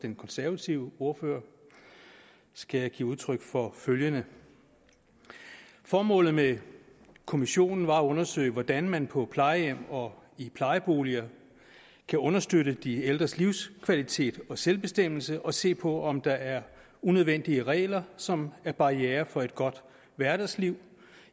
den konservative ordfører skal jeg give udtryk for følgende formålet med kommissionen var at undersøge hvordan man på plejehjem og i plejeboliger kan understøtte de ældres livskvalitet og selvbestemmelse og se på om der er unødvendige regler som er barrierer for et godt hverdagsliv